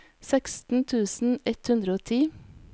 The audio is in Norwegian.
seksten tusen ett hundre og ti